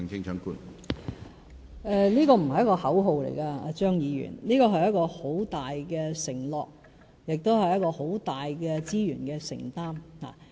這不是口號，張議員，這是一個很大的承諾，亦是很大的資源承擔。